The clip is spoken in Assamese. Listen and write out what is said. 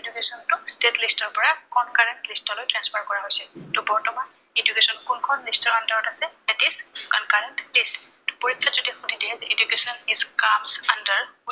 education টো state list ৰ পৰা concurrent list লৈ transfer কৰা হৈছে। ত বৰ্তমান education কোনখন list ৰ under ত আছে It is concurrent list